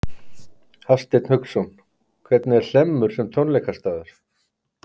Hafsteinn Hauksson: Hvernig er Hlemmur sem tónleikastaður?